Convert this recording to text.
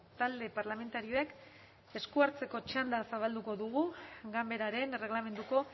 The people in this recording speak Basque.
talde parlamentarioek esku hartzeko txanda zabalduko dugu ganberaren erregelamenduko